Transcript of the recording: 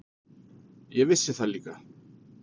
Ég vissi það líka.